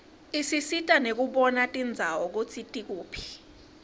isisita nekubona tindzawo kutsi tikuphi